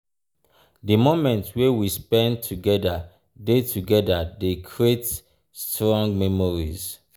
di moments wey we spend together dey together dey create strong memories.